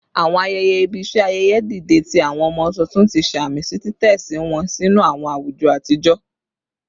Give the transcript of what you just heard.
Awọn ayẹyẹ ibi ṣe ayẹyẹ dide ti awọn ọmọ tuntun, ti samisi titẹsi wọn sinu awọn awujọ atijọ